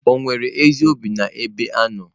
Ò nwere ezi obi n'ebe ị nọ?